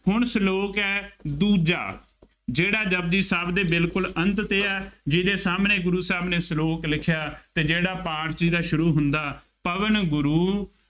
ਹੁਣ ਸਲੋਕ ਹੈ ਦੂਜਾ, ਜਿਹੜਾ ਜਪੁਜੀ ਸਾਹਿਬ ਦੇ ਬਿਲਕੁੱਲ ਅੰਤ ਤੇ ਹੈ, ਜਿਹਦੇ ਸਾਹਮਣੇ ਗੁਰੂ ਸਾਹਿਬ ਨੇ ਸਲੋਕ ਲਿਖਿਆ ਅਤੇ ਜਿਹੜਾ ਪਾਠ ਚ ਵੀ ਤਾਂ ਸ਼ੁਰੂ ਹੁੰਦਾ, ਪਵਣੁ ਗੁਰੂ